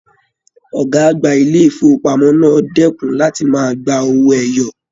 Ọgá àgbà ilé ifowopamọ náà dẹkùn láti máa gbà owó ẹyọ.